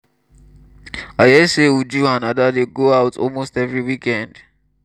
i hear say uju and ada dey go out almost every weekend